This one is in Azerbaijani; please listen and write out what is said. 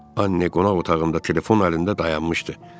Anne qonaq otağında telefon əlində dayanmışdı.